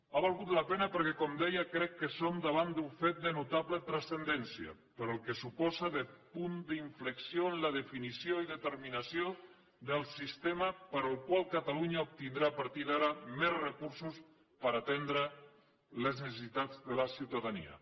ha valgut la pena perquè com deia crec que som davant d’un fet de notable transcendència pel que suposa de punt d’inflexió en la definició i determinació del sistema pel qual catalunya obtindrà a partir d’ara més recursos per atendre les necessitats de la ciutadania